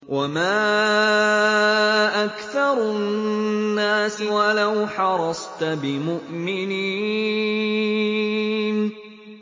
وَمَا أَكْثَرُ النَّاسِ وَلَوْ حَرَصْتَ بِمُؤْمِنِينَ